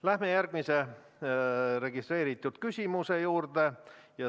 Läheme järgmise registreeritud küsimuse juurde.